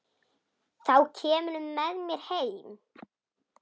Þá kemurðu með mér heim.